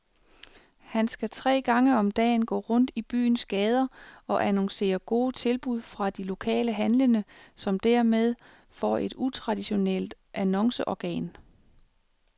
Han skal tre gange om dagen gå rundt i byens gader og annoncere gode tilbud fra de lokale handlende, som hermed får et utraditionelt annonceorgan.